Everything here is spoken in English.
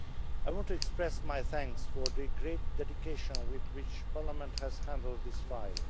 I want to express my thanks for the great dedication with which Parliament has handled this file.